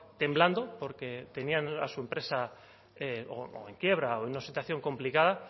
temblando porque tenían a su empresa o en quiebra o en una situación complicada